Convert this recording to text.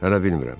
Hələ bilmirəm.